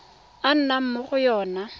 a nnang mo go yona